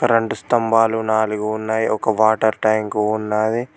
Current స్తంభాలు నాలుగు ఉన్నాయి ఒక వాటర్ ట్యాంక్ ఉన్నాది.